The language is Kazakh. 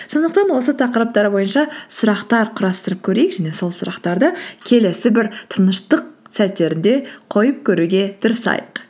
сондықтан осы тақырыптар бойынша сұрақтар құрастырып көрейік және сол сұрақтарды келесі бір тыныштық сәттерінде қойып көруге тырысайық